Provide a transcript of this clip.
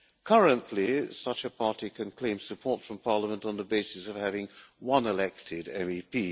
Currently such a party can claim support from Parliament on the basis of having one elected MEP.